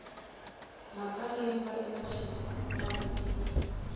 mhaka leyi nga eka xinavetiso